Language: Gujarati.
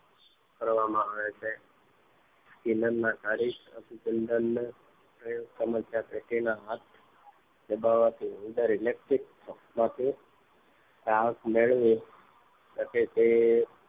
કરવામાં આવે છે અભિસંધાન ના કારીસ્ત અભિસંધાન માં તેઓ સમસ્યા પેટી ના હાથ દબાવાથી ઉંદર ઇલેકટીક્ પલકમાંથી હાશ મેળવી સકે એવો